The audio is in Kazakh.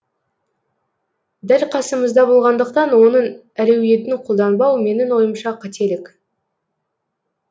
дәл қасымызда болғандықтан оның әлеуетін қолданбау менің ойымша қателік